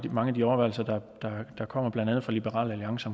mange af de overvejelser der kommer blandt andet fra liberal alliance